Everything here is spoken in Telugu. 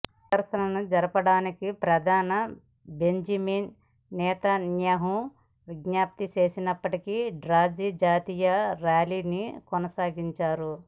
ప్రదర్శనను జరపరాదని ప్రధాని బెంజమిన్ నెతన్యాహు విజ్ఞప్తి చేసినప్పటికీ డ్రజి జాతీయులు ర్యాలీని కొనసాగించారు